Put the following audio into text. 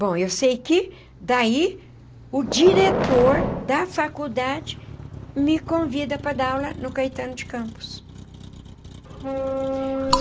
Bom, eu sei que daí o diretor da faculdade me convida para dar aula no Caetano de Campos.